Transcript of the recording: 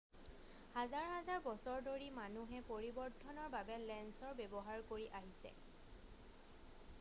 হাজাৰ হাজাৰ বছৰ ধৰি মানুহে পৰিৱৰ্ধনৰ বাবে লেঞ্চৰ ব্যৱহাৰ কৰি আহিছে